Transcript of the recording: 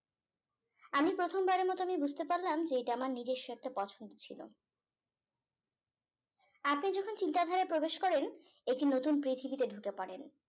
আমি প্রথমবারের মতো আমি বুঝতে পারলাম যে এইটা আমার নিজ্বস্য একটা পছন্দ ছিল আপনি যখন চিন্তাধারা প্রবেশ করেন একটি নতুন পৃথিবীতে ঢুকে পরেন